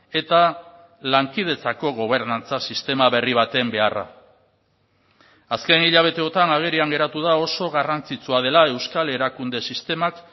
eta lankidetzako gobernantza sistema berri baten beharra azken hilabeteotan agerian geratu da oso garrantzitsua dela euskal erakunde sistemak